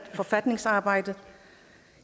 sådan